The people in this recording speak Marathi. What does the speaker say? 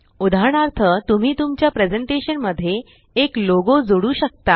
उदाहरणार्थ तुम्ही तुमच्या प्रेज़ेंटेशन मध्ये एक लोगो प्रतीक चिन्ह जोडू शकता